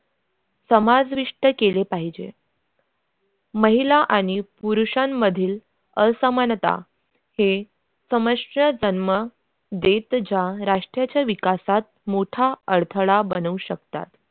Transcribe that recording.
समाविष्ट केले पाहिजे महिला आणि पुरुषांमधील असमानता हे समस्त जन्म देत ज्या राष्ट्राच्या विकासात मोठा अडथळा बनवू शकतात.